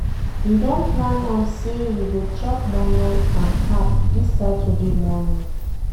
We don plan am sey we go chop moi-moi and pap dis Saturday morning.